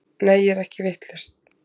Nei ég er ekkert vitlaus.